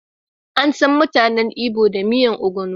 Ansan mutanen Igbo da miyar ogbono.